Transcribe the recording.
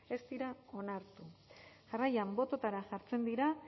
ez dira onartu jarraian bototara jartzen dira